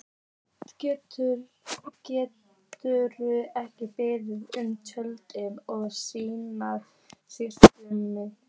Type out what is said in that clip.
Gerður er beðin um tillögur að slíkri skreytingu.